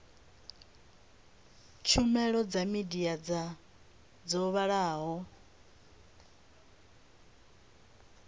tshumelo dza midia dzo vhalaho